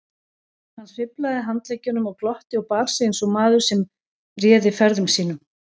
Hann sveiflaði handleggjunum og glotti og bar sig eins og maður sem réði ferðum sínum.